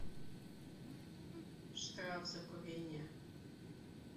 штраф за курение